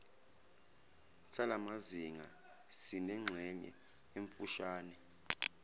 salamazinga sinengxenye emfushane